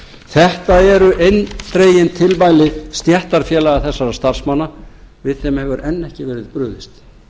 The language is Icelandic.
þetta eru eindregin tilmæli stéttarfélaga þessara starfsmanna við þeim hefur enn ekki verið brugðist